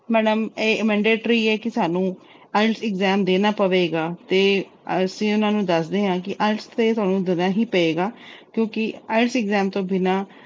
madam ਇਹ mandatory ਹੈ ਕਿ ਸਾਨੂੰ IELTS exam ਦੇਣਾ ਪਏਗਾ ਤੇ ਅਸੀਂ ਉਹਨਾਂ ਨੂੰ ਦੱਸਦੇ ਆ ਕਿ IELTS ਤਾਂ ਤੁਹਾਨੂੰ ਦੇਣਾ ਈ ਪਏਗਾ ਕਿਉਂਕਿ IELTS exam ਤੋਂ ਬਿਨਾਂ